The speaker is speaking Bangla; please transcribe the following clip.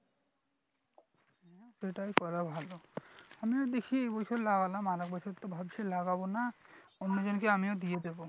সেটাই করা ভালো আমিও দেখি এবছর লাগলাম আরেক বছর তো ভাবছি লাগাবো না অন্যজন কে আমিও দিয়ে দেব